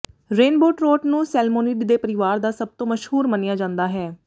rainbow trout ਨੂੰ salmonid ਦੇ ਪਰਿਵਾਰ ਦਾ ਸਭ ਤੋਂ ਮਸ਼ਹੂਰ ਮੰਨਿਆ ਜਾਂਦਾ ਹੈ